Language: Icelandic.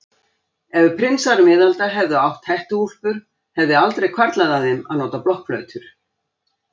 Ef prinsar miðalda hefðu átt hettuúlpur hefði aldrei hvarflað að þeim að nota blokkflautur.